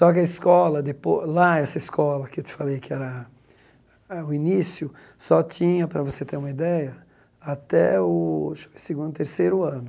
Só que a escola depo, lá essa escola que eu te falei que era a o início, só tinha, para você ter uma ideia, até o acho que segundo, terceiro ano.